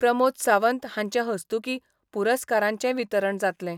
प्रमोद सावंत हांचे हस्तुकी पुरस्कारांचे वितरण जातलें.